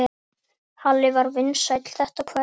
Halli var vinsæll þetta kvöld.